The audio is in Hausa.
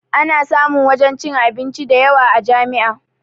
Ana samun wajen cin abinci dayawa a jami'a